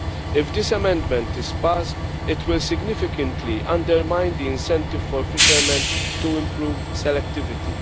If this amendment is passed, it will significantly undermine the incentive for fishermen to improve selectivity.